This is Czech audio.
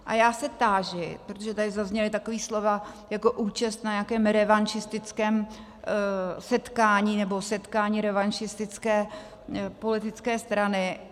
A já se táži, protože tady zazněla taková slova jako účast na nějakém revanšistickém setkání, nebo setkání revanšistické politické strany.